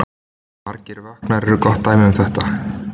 Margir vökvar eru gott dæmi um þetta.